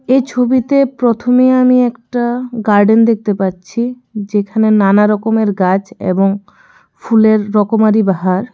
এই ছবিতে প্রথমে আমি একটা গার্ডেন দেখতে পাচ্ছি যেখানে নানা রকমের গাছ এবং ফুলের রকমারি বাহার।